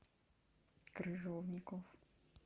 крыжовников